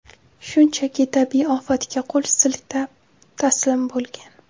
Shunchaki tabiiy ofatga qo‘l siltab, taslim bo‘lgan.